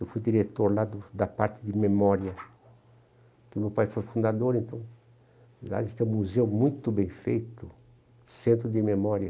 Eu fui diretor lá do da parte de memória, porque o meu pai foi fundador, então lá a gente tem um museu muito bem feito, centro de memória.